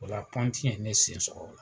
O la pɔnti ye ne sen sɔgɔ o la.